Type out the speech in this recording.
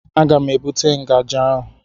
Aga m ebute ngaji ahụ.